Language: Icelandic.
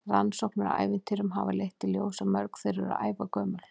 Rannsóknir á ævintýrum hafa leitt í ljós að mörg þeirra eru ævagömul.